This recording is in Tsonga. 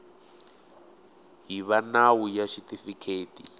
hi va nawu ya xitifiketi